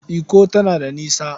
Ikko tana da nisa.